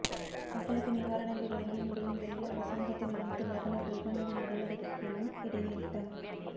மக்களுக்கு நிவாரணங்கள் வழங்கி முடியும் வரையில் அரசாங்கத்தின் அனைத்து வாகனக் கொள்வனவு நடவடிக்கைகளும் இடைநிறுத்தம்